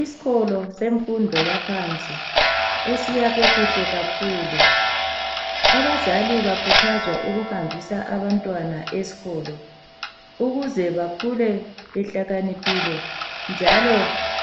Isikolo semfundo yaphansi esiyakhwe kuhle kakhulu abazali bakhuthazwa ukuhambisa abantwana esikolo ukuze bakhule behlakaniphile njalo